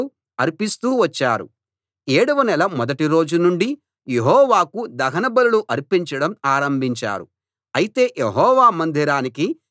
ఏడవ నెల మొదటి రోజు నుండి యెహోవాకు దహన బలులు అర్పించడం ఆరంభించారు అయితే యెహోవా మందిరానికి ఇంకా పునాది వేయలేదు